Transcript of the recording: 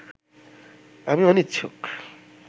আমি অনিচ্ছুক